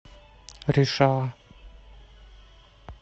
решала